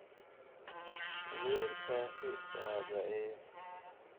Wiilkaasi waa daciif